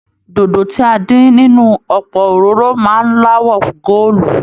Dòdo tí a dín nínú ọpọ òróró máa n l'awọ goolu.